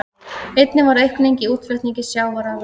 Einnig varð aukning í útflutningi sjávarafurða